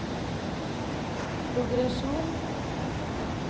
progresjon